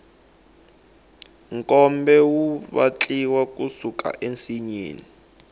nkombe wu vatliwa ku suka ensinyeni